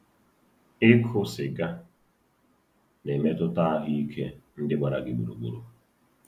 Ịkụ sịga... na-emetụta ahụike ndị gbara gị gburugburu....